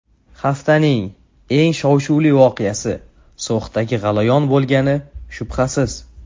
Haftaning eng shov-shuvli voqeasi So‘xdagi g‘alayon bo‘lgani shubhasiz.